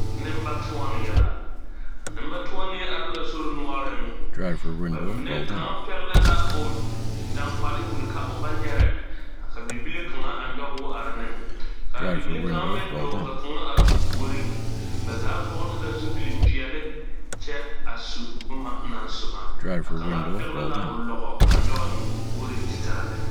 Nembatoɔnee la nembatoɔnee are la sori noɔreŋ ba mine kaŋa pɛgle la o daŋgbale wulli ka o ba nyɛrɛ ka bibile kaŋa a nyɔge o are ne ka a bibile kaŋ meŋ dɔɔ ka kaŋa are o puoriŋ ba zaa vɔgle la zupilpeɛlle kyɛ a su boma naŋ soma a kaŋ pɛgle la o lɔgɔ a nyɔge eŋ o puoriŋ ti taa lɛ.